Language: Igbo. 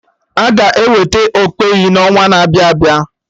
Aga eweta okpeyi n'ọnwa na-abịa abịa